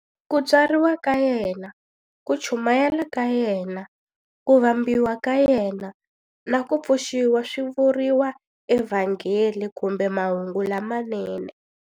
Ku tswariwa ka yena, ku chumayela ka yena, ku vambiwa ka yena, na ku pfuxiwa swi vuriwa eVhangeli kumbe Mahungu lamanene.